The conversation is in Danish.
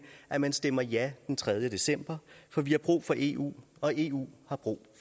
at man stemmer ja den tredje december for vi har brug for eu og eu har brug